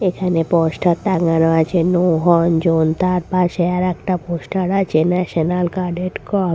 এখানে পোস্টার টাঙ্গানো আছে নো হর্ন জোন তার পাশে আর একটা পোস্টার আছে ন্যাশনাল গার্ডেন কর্পস ।